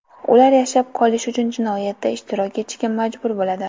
Ular yashab qolish uchun jinoyatda ishtirok etishga majbur bo‘ladi.